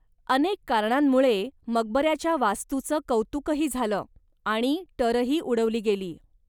अनेक कारणांमुळे मकबऱ्याच्या वास्तूचं कौतुकही झालं आणि टरही उडवली गेली.